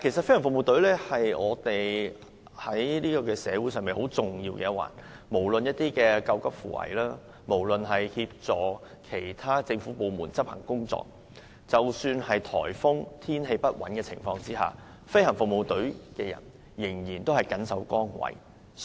飛行服務隊在社會上擔當很重要的角色，既負責救急扶危，又協助其他政府部門執行工作，即使在颱風或天氣不穩的情況下，飛行服務隊仍然緊守崗位。